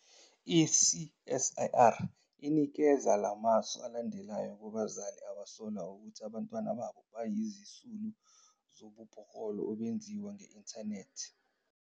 I-CSIR inikeza la masu alandelayo kubazali abasola ukuthi abantwana babo bayizisulu zobubhoklolo obenziwa nge-inthanethi.